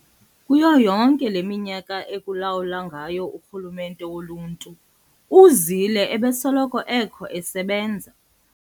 Kuyo yonke leminyaka ekulawula ngayo urhulumente woluntu, uZille ebesoloko ekho esebenza.